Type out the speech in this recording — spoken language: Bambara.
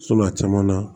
a caman na